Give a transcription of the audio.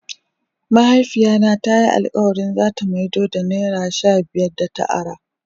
Mahaifiya na ta yi alkawali za ta maido da naira shabiyar da ta ara.